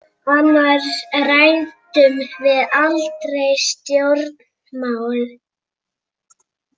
Annars ræddum við aldrei stjórnmál.